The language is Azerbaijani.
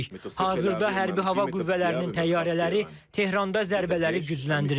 Hazırda hərbi hava qüvvələrinin təyyarələri Tehranda zərbələri gücləndirir.